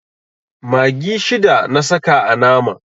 Maggi shida na saka a naman.